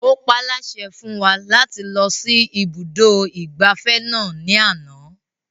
Ó paálásẹ fún wa láti lọ sí ibùdó ìgbafẹ́ náà ní àná